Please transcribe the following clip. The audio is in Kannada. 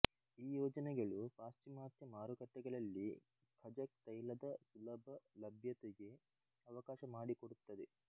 ಈ ಯೋಜನೆಗಳು ಪಾಶ್ಚಿಮಾತ್ಯ ಮಾರುಕಟ್ಟೆಗಳಲ್ಲಿ ಖಜಕ್ ತೈಲದ ಸುಲಭ ಲಭ್ಯತೆಗೆ ಅವಕಾಶ ಮಾಡಿಕೊಡುತ್ತದೆ